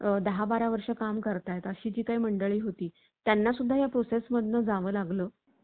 chat GPT ने गाजवलं होत, या पार्श्वभूमीवर त्यांनी हे वक्तव्य केलं आहे. गमतीचा भाग म्हणजे या तंत्रज्ञानात पुढे जाण्यासाठी